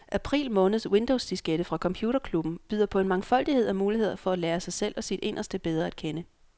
April måneds windowsdiskette fra computerklubben byder på en mangfoldighed af muligheder for at lære sig selv og sit inderste bedre at kende.